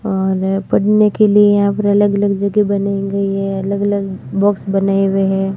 और पढ़ने के लिए यहां पर अलग अलग जगह बनी गई है अलग अलग बॉक्स बनाए हुए हैं।